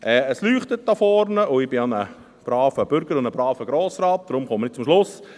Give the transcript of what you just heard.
Es leuchtet hier vorne, und ich bin ja ein braver Bürger und ein braver Grossrat, deshalb komme ich zum Schluss.